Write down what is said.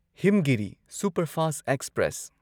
Himgiri superfast express